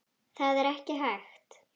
Það er ekki hægt